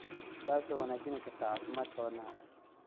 taasoo wanaajin karta caafimaadka wadnaha.